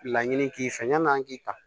Laɲini k'i fɛ yan'an k'i ta